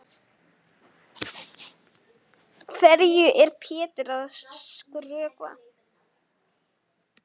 Hverju er Pétur að skrökva?